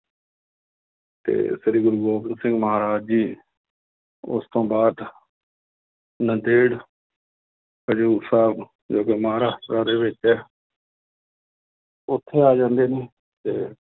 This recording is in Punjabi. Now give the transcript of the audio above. ਤੇ ਸ੍ਰੀ ਗੁਰੂ ਗੋਬਿੰਦ ਸਿੰਘ ਮਹਾਰਾਜ ਜੀ ਉਸ ਤੋਂ ਬਾਅਦ ਨੰਦੇੜ ਹਜ਼ੂਰ ਸਾਹਿਬ ਜੋ ਦੇ ਵਿੱਚ ਹੈ ਉੱਥੇ ਆ ਜਾਂਦੇ ਨੇ ਤੇ